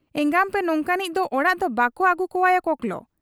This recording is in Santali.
ᱮᱸᱜᱟᱢᱯᱮ ᱱᱚᱝᱠᱟᱱᱤᱡ ᱫᱚ ᱚᱲᱟᱜ ᱫᱚ ᱵᱟᱠᱚ ᱟᱹᱜᱩ ᱠᱚᱣᱟᱭᱟ ᱠᱚᱠᱞᱚ ᱾